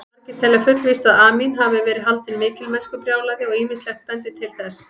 Margir telja fullvíst að Amín hafi verið haldinn mikilmennskubrjálæði og ýmislegt bendir til þess.